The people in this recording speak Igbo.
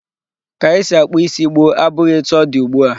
Ka esi akpụ isi gboo abụghị etu ọ dị ugbu a.